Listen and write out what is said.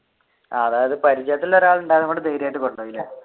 അതായത് പരിചയത്തിൽ ഒരാൾ ഉണ്ടായതുകൊണ്ട് ധൈര്യമായിട്ട്